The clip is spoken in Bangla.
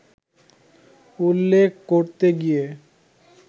উল্লেখ করতে গিয়ে